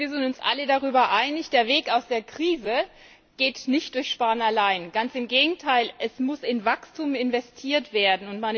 Ich denke, wir sind uns alle darüber einig Der Weg aus der Krise ist nicht durch Sparen allein möglich, ganz im Gegenteil es muss in Wachstum investiert werden.